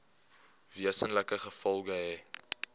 wesenlike gevolge hê